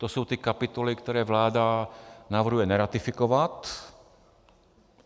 To jsou ty kapitoly, které vláda navrhuje neratifikovat.